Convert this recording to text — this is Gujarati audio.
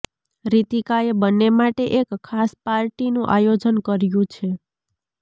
રિતિકા એ બંને માટે એક ખાસ પાર્ટી નું આયોજન કર્યું છે